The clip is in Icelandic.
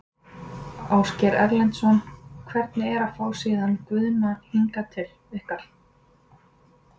Ásgeir Erlendsson: Hvernig er að fá síðan Guðna hingað til ykkar?